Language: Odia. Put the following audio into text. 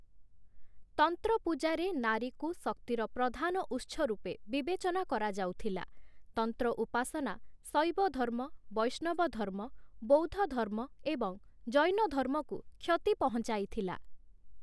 ତନ୍ତ୍ରପୂଜାରେ ନାରୀକୁ ଶକ୍ତିର ପ୍ରଧାନଉତ୍ସ ରୂପେ ବିବେଚନା କରାଯାଉଥିଲା । ତନ୍ତ୍ର ଉପାସନା ଶୈବଧର୍ମ, ବୈଷ୍ଣବଧର୍ମ, ବୌଦ୍ଧଧର୍ମ ଏବଂ ଜୈନଧର୍ମକୁ କ୍ଷତି ପହଂଚାଇଥିଲା ।